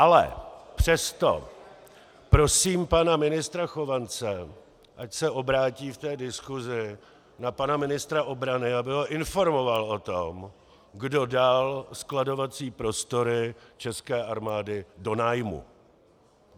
Ale přesto prosím pana ministra Chovance, ať se obrátí v té diskusi na pana ministra obrany, aby ho informoval o tom, kdo dal skladovací prostory české armády do nájmu.